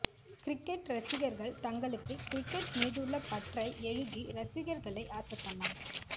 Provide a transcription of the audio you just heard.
cricket ரசிகர்கள் தங்களுக்கு cricket மீதுள்ள பற்றை எழுதி ரசிகர்களை அசத்தலாம்